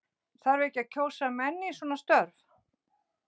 Þarf ekki að kjósa menn í svona störf?